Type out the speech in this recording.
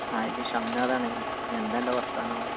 ആ ഇത് ഷംനാഥാണ് എന്താ അൻ്റെ വർത്താനോ